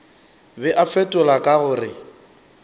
be a fetola ka gore